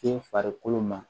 Te farikolo ma